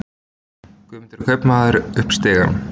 Guðmundur kaupmaður upp stigann.